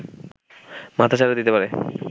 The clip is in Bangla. মাথাচাড়া দিতে পারে